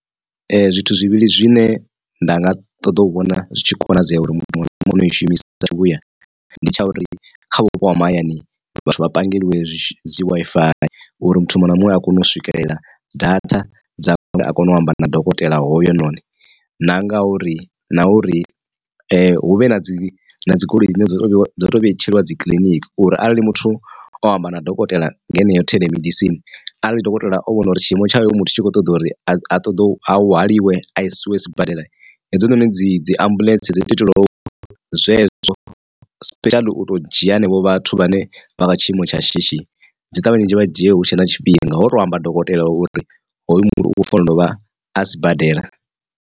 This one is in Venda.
Ee zwithu zwivhili zwine nda nga ṱoḓa u vhona zwi tshi konadzea uri muthu muṅwe na muṅwe u i shumisa sa zwivhuya ndi tsha uri kha vhupo ha mahayani vha pangeliwa dzi Wi-Fi uri muthu muṅwe na muṅwe a kone u swikelela data dza uri a kone u amba na dokotela hoyo noni na ngauri na uri hu vhe na dzi dzi goloi dzine dzo dzo to vhetshelwa dzi kiḽiniki uri arali muthu o amba na dokotela nga heneyo theḽemedisini. Arali dokotela o vhona uri tshi imo tshayo muthu a tshi kho ṱoḓa uri a ṱoḓo hwaliwe a isiwe sibadela hedzinoni dzi dzi ambuḽentse dzo tou itelwa zwezwo special u to dzhia henevho vhathu vhane vha kha tshiimo tsha shishi dzi ṱavhanye dzi vha dzhie hutshe na tshifhinga ho to amba dokotela uri hoyu muthu u fanela u vha a sibadela.